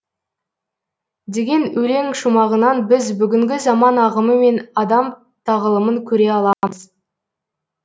деген өлең шумағынан біз бүгінгі заман ағымы мен адам тағылымын көре аламыз